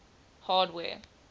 hardware